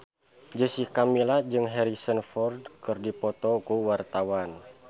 Jessica Milla jeung Harrison Ford keur dipoto ku wartawan